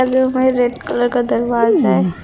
Red colour का दरवाजा है।